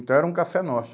Então era um café nosso.